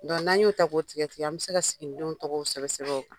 n'an y'o ta k'o tigɛ tigɛ an bɛ se ka siginidenw tɔgƆw sɛbɛn sƐbƐn o kan.